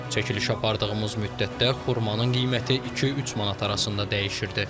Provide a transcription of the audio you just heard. Çəkiliş apardığımız müddətdə xurmanın qiyməti iki-üç manat arasında dəyişirdi.